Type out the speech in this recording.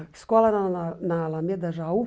A escola era na na Alameda Jaú.